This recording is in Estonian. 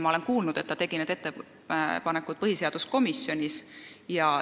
Ma olen kuulnud, et ta tegi need ettepanekud põhiseaduskomisjonis.